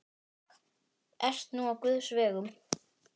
Ert nú á guðs vegum.